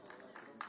Yəni bütün şeylər.